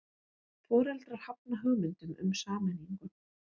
Foreldrar hafna hugmyndum um sameiningu